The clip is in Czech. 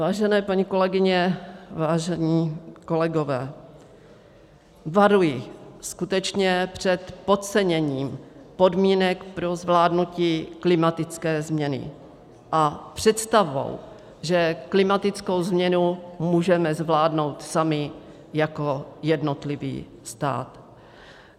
Vážené paní kolegyně, vážení kolegové, varuji skutečně před podceněním podmínek pro zvládnutí klimatické změny a představou, že klimatickou změnu můžeme zvládnout sami jako jednotlivý stát.